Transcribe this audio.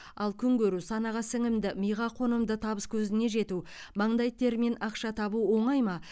ал күн көру санаға сіңімді миға қонымды табыс көзіне жету маңдай термен ақша табу оңай ма